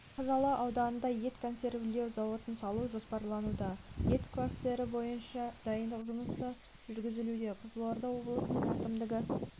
қазалы ауданында ет консервілеу зауытын салу жоспарлануда ет кластері бойынша дайындық жұмысы жүргізілуде қызылорда облысының әкімдігі